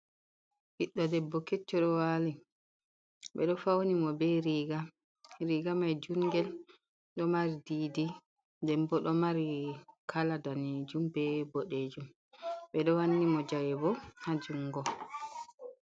Ɓiddo debbo kecco ɗo wali ɓeɗo fauni mo be riga, riga mai jungel dow mari didi den bo ɗo mari kala danejum be boɗejum, ɓeɗo wanni mo jawe bo ha jungo.